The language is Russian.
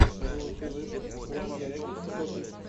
лучший выпуск ван дирекшен топик